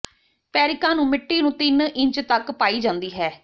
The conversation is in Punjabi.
ਪੈਰਿਕਾਂ ਨੂੰ ਮਿੱਟੀ ਨੂੰ ਤਿੰਨ ਇੰਚ ਤਕ ਪਾਈ ਜਾਂਦੀ ਹੈ